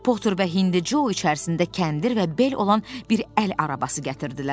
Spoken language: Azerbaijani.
Poter və Hindu Co içərisində kəndir və bel olan bir əl arabası gətirdilər.